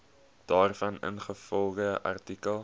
daarvan ingevolge artikel